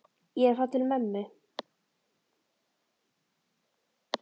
Ég er að fara til mömmu.